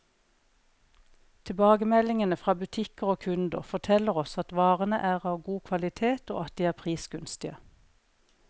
Tilbakemeldingene fra butikker og kunder, forteller oss at varene er av god kvalitet, og at de er prisgunstige.